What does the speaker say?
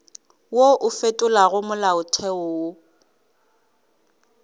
wo o fetolago molaotheo o